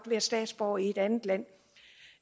være statsborger i et andet land